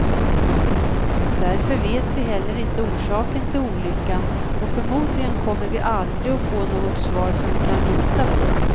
Därför vet vi heller inte orsaken till olyckan, och förmodligen kommer vi aldrig att få något svar som vi kan lita på.